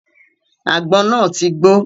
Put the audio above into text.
Àgbọn náà ti gbó.